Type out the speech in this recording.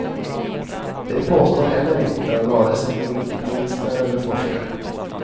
Det påstår heller inte vare sig ministrar eller forskare.